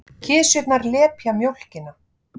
Kisurnar lepja mjólkina.